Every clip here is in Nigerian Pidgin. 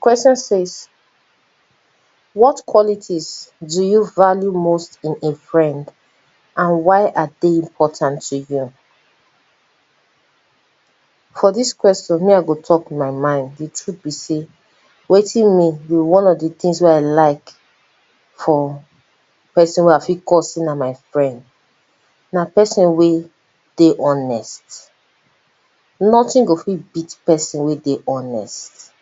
Question says what qualities do you value most in a friend and why are dey important to you? For dis question me I go talk my mind, di truth be sey wetin be one of di things wey I like for person wey I fit call my friend, na person wey dey honest, nothing go fit beat person wey dey honest,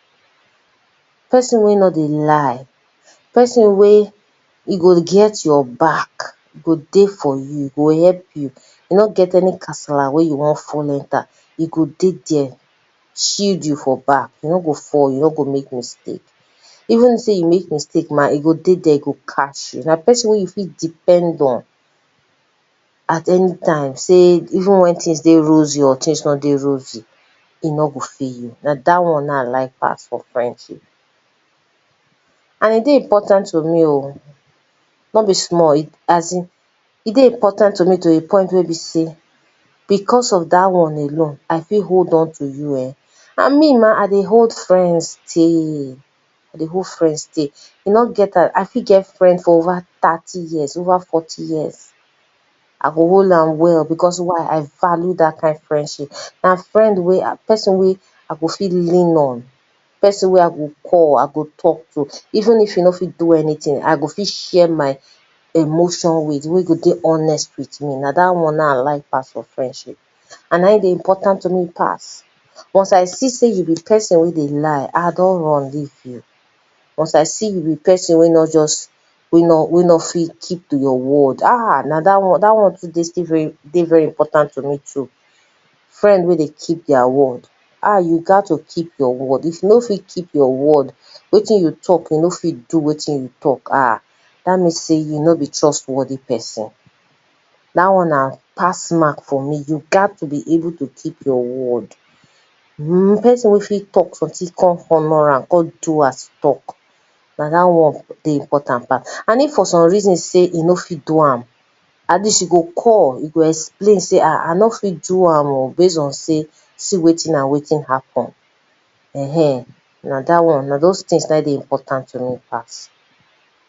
person wey nor dey lie, person wey e go get your back e go dey for you, e go help you, e nor get any kasala wey you you wan fall enter, e go dey there shield you for back, you nor go fall you nor go make mistake, even though sey you make mistake ma, e go dey there, e go catch you, n a person wey you fit depend on at anytime sey even wen things dey rosy or wen things no dey rosy e nor go leave you na dat one na im I like pass for friendship. And e dey important to me oh, no be small e dey important to me to di point be sey, because of dat one alone, I fit hold on to you[um], and me ma I dey hold friends tey, I dey hold friends tey, e nor get as I fit get friend for over thirty years over forty year, I go hold am well why because I value dat friendship. Na friend wey person wey I fit lean on, person wey I go call I go talk to even if e no fit do anything I go fit share my emotion with, wey go dey honest with me, na dat one na im I like pass for friendship. And na im dey important to me pass, once I see sey you be person wey dey lie I don run leave you. Once I see you be person wey nor just we nor, we nor we nor fit keep to your word ah, na dat dat one sef still dey very important to me. Friend wey dey keep their word ah, you gat to keep your word, if you no fit keep your word, wetin you talk you no fit keep wetin you talk ah, dat mean sey you nor be trust worthy person. Dat one na pass word for me, you gat to keep your word. Person wey fit talk something come honor am, come do as e talk, na dat one na im dey important pass, and if for some reason sey e no fit do am, at least e go call e go explain sey ah, I no fit do am oh, based on sey see wetin and wetin happen, ehen, na dat one, no doz things na im dey important to me pass.